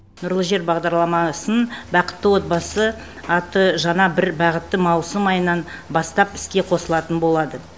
нұрлы жер бағдарламасын бақытты отбасы атты жаңа бір бағыты маусым айынан бастап іске қосылатын болады